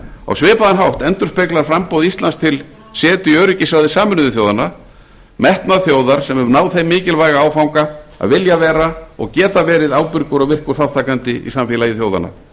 á svipaðan hátt endurspeglar framboð íslands til setu í öryggisráði sameinuðu þjóðanna metnað þjóðar sem hefur náð þeim mikilvæga áfanga að vilja vera og geta verið ábyrgur og virkur þátttakandi í samfélagi þjóðanna